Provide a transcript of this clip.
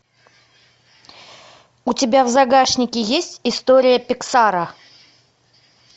у тебя в загашнике есть история пиксара